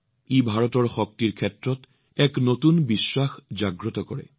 ই ভাৰতৰ শক্তিৰ ওপৰত এক নতুন আত্মবিশ্বাস জাগ্ৰত কৰিছে